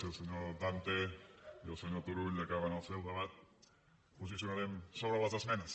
si el senyor dante i el senyor turull acaben el seu debat ens posicionarem sobre les esmenes